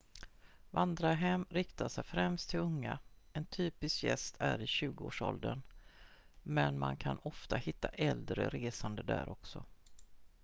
vandrarhem riktar sig främst till unga en typisk gäst är i 20-årsåldern men man kan ofta hitta äldre resande där också